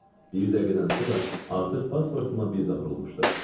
Bir dəqiqədən sonra artıq pasportuma viza vurulmuşdu.